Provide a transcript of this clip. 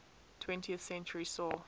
twentieth century saw